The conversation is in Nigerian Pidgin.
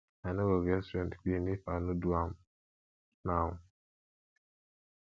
i no go get strength clean if i no do am now